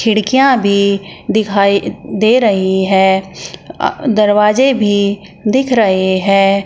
खिड़कियां भी दिखाई दे रही है दरवाजे भी दिख रहे हैं।